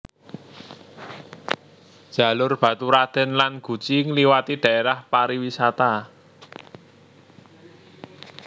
Jalur Baturraden lan Guci ngliwati dhaérah pariwisata